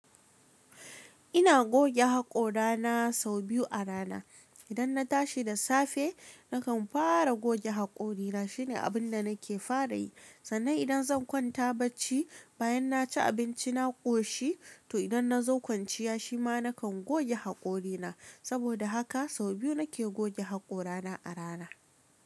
Ina goge haƙora na sau biyu a rana. Idan na tashi da safe nakan fara goge haƙorina shine abun da nake fara yi. Sannan idan zan kwanta bacci bayan na ci abinci na ƙoshi to idan na zo kwanciya shi ma nakan goge haƙorina. Saboda haka sau biyu nake goge haƙora na a rana.